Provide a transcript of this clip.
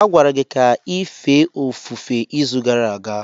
A gwara gị ka ị fee ofufe izu gara aga.